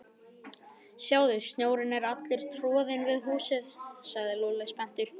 Sjáðu, snjórinn er allur troðinn við húsið sagði Lúlli spenntur.